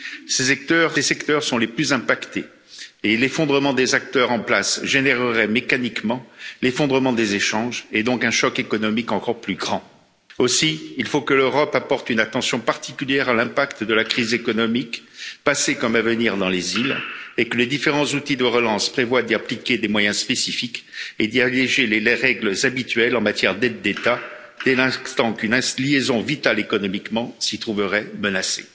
Ces secteurs sont les plus impactés et l'effondrement des acteurs en place générerait mécaniquement l'effondrement des échanges et donc un choc économique encore plus grand. Aussi, il faut que l'Europe apporte une attention particulière à l'impact de la crise économique passée comme à venir dans les îles et que les différents outils de relance prévoient d'y appliquer des moyens spécifiques et d'y alléger les règles habituelles en matière d'aides d'État, dès l'instant qu'une liaison vitale économiquement s'y trouverait menacée.